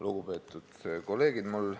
Lugupeetud kolleegid!